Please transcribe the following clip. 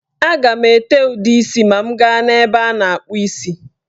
A ga m ete ude isi ma m gaa n'ebe a na-akpụ isi.